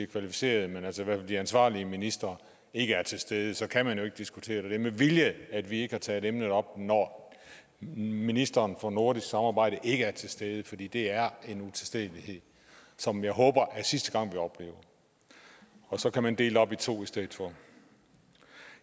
kvalificerede de ansvarlige ministre ikke er til stede så kan man jo ikke diskutere det det med vilje at vi ikke har taget emnet op når ministeren for nordisk samarbejde ikke er til stede fordi det er en utilstedelighed som jeg håber er sidste gang vi oplever og så kan man dele det op i to i stedet for